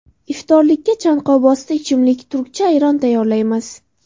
Iftorlikka chanqovbosdi ichimlik turkcha ayron tayyorlaymiz.